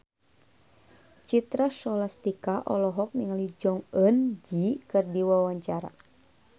Citra Scholastika olohok ningali Jong Eun Ji keur diwawancara